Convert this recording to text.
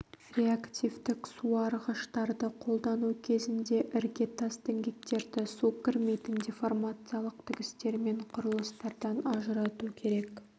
реактивтік суарғыштарды қолдану кезінде іргетас-діңгектерді су кірмейтін деформациялық тігістермен құрылыстардан ажырату керек